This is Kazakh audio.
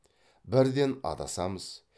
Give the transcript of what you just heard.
бірден адасамыз